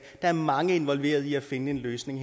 der er mange involveret i at finde en løsning